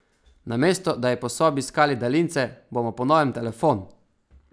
Namesto da bi po sobi iskali daljince, bomo po novem telefon!